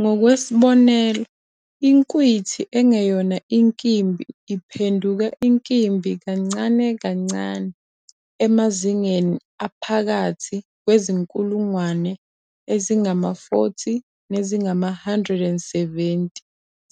Ngokwesibonelo, inkwithi engeyona inkimbi iphenduka Inkimbi kancane kancane emazingeni aphakathi kwezinkulungwane ezingama-40 nezingama-170